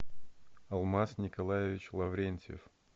алмаз николаевич лаврентьев